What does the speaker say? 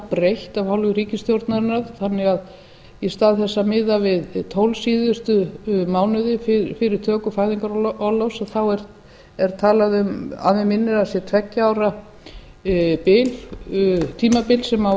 breytt af hálfu ríkisstjórnarinnar þannig að í stað þess að miða við tólf síðustu mánuði fyrir töku fæðingarorlofs þá er talað um að mig minnir að það sé tveggja ára tímabil sem á